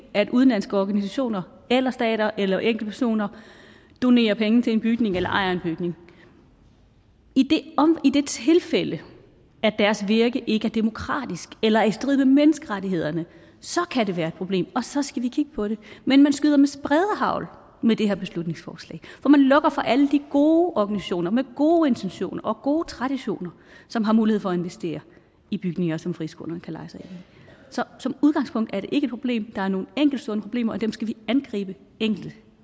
at udenlandske organisationer eller stater eller enkeltpersoner donerer penge til en bygning eller ejer en bygning i det tilfælde at deres virke ikke er demokratisk eller er i strid med menneskerettighederne så kan det være et problem og så skal vi kigge på det men man skyder med spredehagl med det her beslutningsforslag for man lukker for alle de gode organisationer med gode intentioner og gode traditioner som har mulighed for at investere i bygninger som friskolerne kan leje sig ind i så som udgangspunkt er det ikke et problem der er nogle enkeltstående problemer og dem skal vi angribe enkeltvis